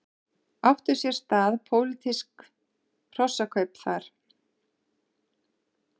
Áttu sér stað pólitísk hrossakaup þar?